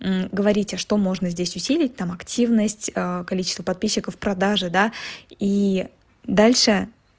говорите что можно здесь усилить там активность количество подписчиков продажи да и дальше